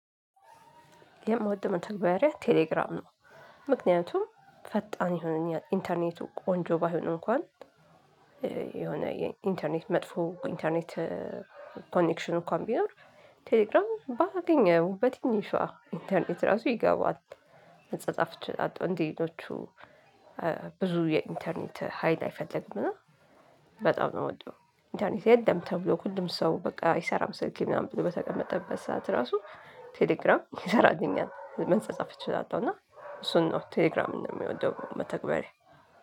የምወድበው መተግባሪያ ቴሌግራም ነው። ምክንያቱም ፈጣን ይሁን ኢንተርኔቱ ቆንጆ ባይሆንም እንኳን የሆነ የኢንተርኔት መጥፎ ኢንተርኔት ኮኔክሽን እንኳን ቢኖር ቴሌግራም ባገኘው በትንሿ ኢንተርኔት ራሱ ይገባል። መጻጻፍ እችላለሁ። እንደሌሎቹ ብዙ የኢንተርኔት ሀይል አይፈልግም። እና በጣም ነው የምወደው። ኢንተርኔት የለም ተብሎ ሁሉም ሰው በቃ አይሰራም ስልኬ ምናምን ብዙ በተቀመጠበት ሰዓት ራሱ ቴሌግራም ይሰራልኛል መጻጻፍ እችላለሁ። እና እሱን ነው ቴሌግራም ነው የሚወደው መተግበሪያ።